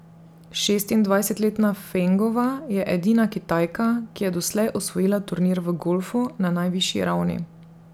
Šestindvajsetletna Fengova je edina Kitajka, ki je doslej osvojila turnir v golfu na najvišji ravni.